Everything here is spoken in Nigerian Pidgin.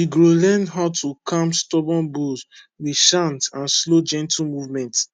we grow learn how to calm stubborn bulls with chant and slow gentle movement